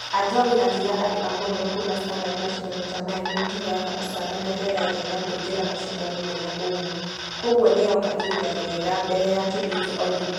Ajowi akĩra andũ a mũhoro kuuma standard mashidano ta maya nĩmatũheaga ũcamba na rĩera rĩega kũingĩra mashidano mĩ na ũmu . Kũgua nĩyũka ihinda rĩega mbere ya tũthiete olympics.